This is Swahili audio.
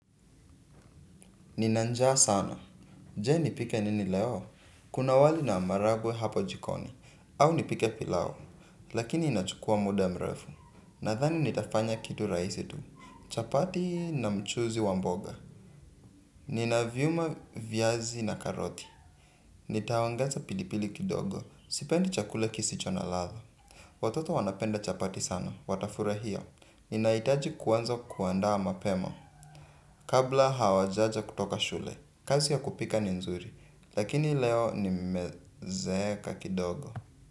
Nina njaa sana. Jee nipike nini leo? Kuna wali na maharagwe hapo jikoni. Au nipike pilau. Lakini inachukua muda mrefu. Nadhani nitafanya kitu rahisi tu. Chapati na mchuuzi wa mboga. Nina vyuma viazi na karoti. Nitawaangaza pilipili kidogo. Sipendi chakula kisicho na ladha. Watoto wanapenda chapati sana. Watafurahia. Ninahitaji kuanza kuandaa mapema. Kabla hawajaja kutoka shule kazi ya kupika ni nzuri. Lakini leo ni mezeeka kidogo.